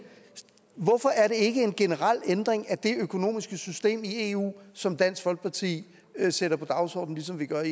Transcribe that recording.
hvorfor er det ikke en generel ændring af det økonomiske system i eu som dansk folkeparti sætter på dagsordenen ligesom vi gør